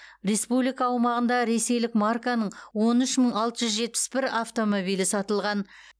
республика аумағында ресейлік марканың он үш мың алты жүз жетпіс бір автомобилі сатылған